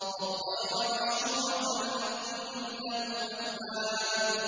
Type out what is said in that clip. وَالطَّيْرَ مَحْشُورَةً ۖ كُلٌّ لَّهُ أَوَّابٌ